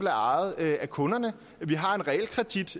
er ejet af kunderne vi har en realkredit